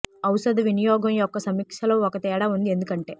ఔషధ వినియోగం యొక్క సమీక్ష లో ఒక తేడా ఉంది ఎందుకు అంటే